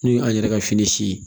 N'o y'an yɛrɛ ka fini si ye